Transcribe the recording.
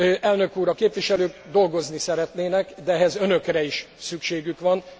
Elnök úr! A képviselők dolgozni szeretnének, de ehhez Önökre is szükségük van.